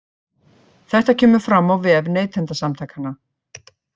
Þetta kemur fram á vef Neytendasamtakanna